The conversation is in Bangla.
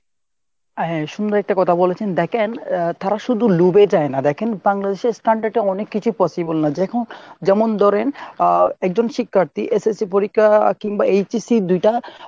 হ্যাঁ , সুন্দর একটা কথা বলেছেন দেখেন আহ তারা শুধু লোভে যায় না দেখেন বাংলাদেশের standard এ অনেক কিছুই পসিবলে না যেমন ধরেন আহএকজন শিক্ষার্থী SSC পরীক্ষা কিংবা HSC দুইটা